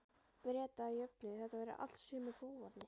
Breta að jöfnu- þetta væru allt sömu bófarnir.